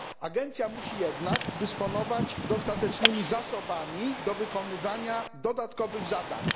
Agencja musi jednak dysponować dostatecznymi zasobami do wykonywania dodatkowych zadań.